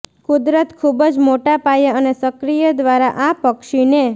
કુદરત ખૂબ જ મોટાપાયે અને સક્રિય દ્વારા આ પક્ષીને